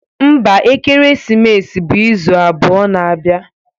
Mba, ekeresimesi bụ izu abụọ na-abịa.